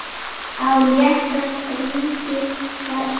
Á létta strengi var slegið.